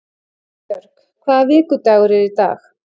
Eybjörg, hvaða vikudagur er í dag?